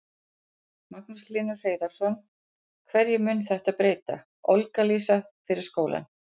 Magnús Hlynur Hreiðarsson: Hverju mun þetta breyta, Olga Lísa, fyrir skólann?